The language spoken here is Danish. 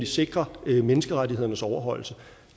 sikre menneskerettighedernes overholdelse